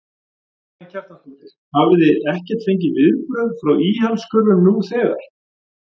Karen Kjartansdóttir: Hafið þið ekkert fengið viðbrögð frá íhaldskurfum nú þegar?